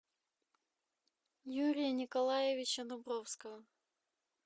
юрия николаевича дубровского